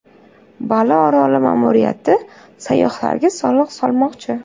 Bali oroli ma’muriyati sayyohlarga soliq solmoqchi.